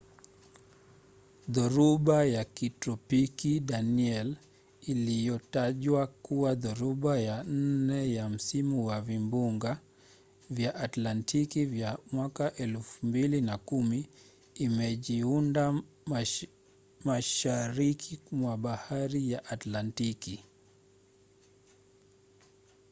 dhoruba ya kitropiki danielle iliyotajwa kuwa dhoruba ya nne ya msimu wa vimbunga vya atlantiki vya 2010 imejiunda mashariki mwa bahari ya atlantiki